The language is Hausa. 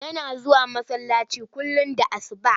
Yana zuwa masallaci kullum da asuba.